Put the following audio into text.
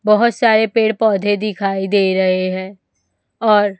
बहोत सारे पेड़ पौधे दिखाई दे रहे है और--